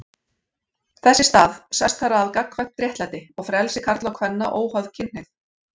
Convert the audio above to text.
Þess í stað sest þar að gagnkvæmt réttlæti og frelsi karla og kvenna óháð kynhneigð.